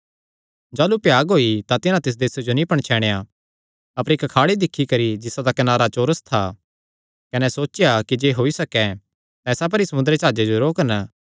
जाह़लू भ्याग होई तां तिन्हां तिस देसे जो नीं पणछैणया अपर इक्क खाड़ी दिक्खी जिसा दा कनारा चौरस था कने सोचेया कि जे होई सके तां इसा पर ई समुंदरी जाह्जे जो रोकन